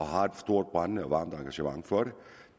har et stort brændende og varmt engagement for det